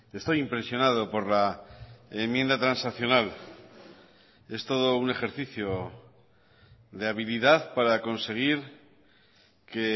estoy impresionado por la enmienda transaccional es todo un ejercicio de habilidad para conseguir que